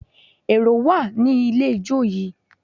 Èrò wà ní ilé ijó yìí